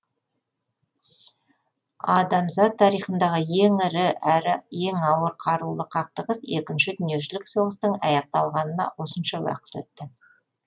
адамзат тарихындағы ең ірі әрі ең ауыр қарулы қақтығыс екінші дүниежүзілік соғыстың аяқталғанына осынша уақыт өтті